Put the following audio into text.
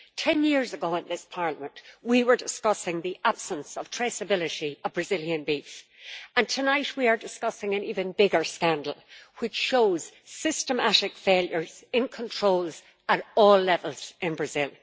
Ten years ago in this Parliament we were discussing the absence of traceability of Brazilian beef, and tonight we are discussing an even bigger scandal which shows systematic failures in controls at all levels in Brazil.